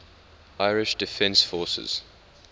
irish defence forces